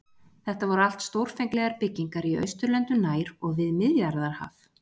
Þetta voru allt stórfenglegar byggingar í Austurlöndum nær og við Miðjarðarhaf.